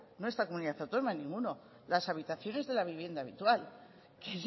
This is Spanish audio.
no esta comunidad autónoma ninguno las habitaciones de la vivienda habitual que